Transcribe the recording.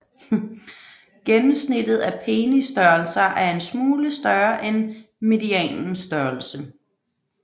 Gennemsnittet af penisstørrelser er en smule større end medianens størrelse